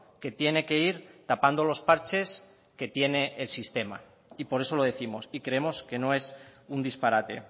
que tiene que ir tapando los parches que tiene el sistema y por eso lo décimos y creemos que no es un disparate